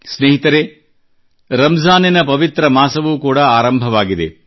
ಸ್ನೇಹಿತರೇ ರಂಜಾನಿನ ಪವಿತ್ರ ಮಾಸವೂ ಕೂಡಾ ಆರಂಭವಾಗಿದೆ